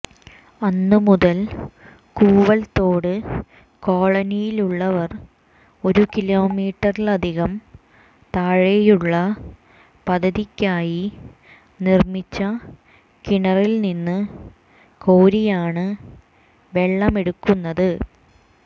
അന്ന് മുതൽ കൂവൽതോട് കോളനിയിലുള്ളവർ ഒരു കിലോമീറ്ററിലധികം താഴെയുള്ള പദ്ധതിക്കായി നിർമ്മിച്ച കിണറിൽ നിന്ന് കോരിയാണ് വെള്ളമെടുക്കുന്നത്